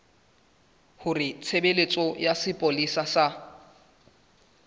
hore tshebeletso ya sepolesa sa